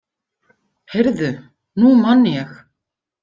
Heyrðu, nú man ég.